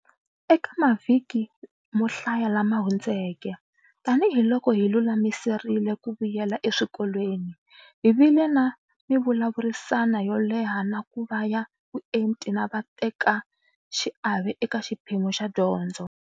Eka mavhiki mo hlaya lama hundzeke, tanihiloko hi lulamiserile ku vuyela eswikolweni, hi vile na mivulavurisano yo leha na ku va ya vuenti na vatekaxiave eka xiphemu xa dyondzo.